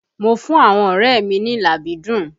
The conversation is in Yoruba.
Mo fún àwọn ọrẹ mi ní làbídùn